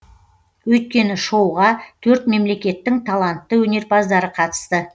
өйткені шоуға төрт мемлекеттің талантты өнерпаздары қатысты